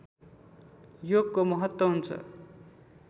योगको महत्व हुन्छ